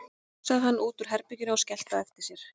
Svo strunsaði hann út úr herbeginu og skellti á eftir sér.